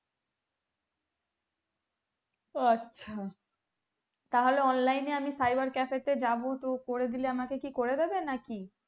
ও আচ্ছা তাহলে online এ আমি cyber cafe তে যাবো তো করে দিলে আমাকে কি করে দিবে না কি